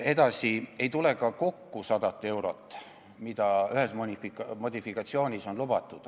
Edasi, ei tule ka kokku 100 eurot tõusu, mida ühes modifikatsioonis on lubatud.